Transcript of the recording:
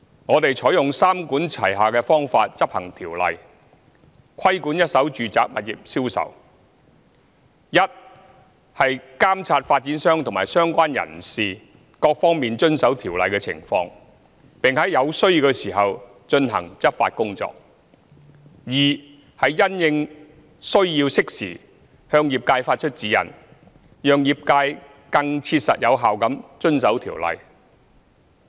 我們採用三管齊下的方法，執行《條例》，規管一手住宅物業銷售。一是監察發展商及相關人士各方面遵守《條例》的情況，並在有需要時進行執法工作。二是因應需要，適時向業界發出指引，讓業界更切實有效地遵守《條例》。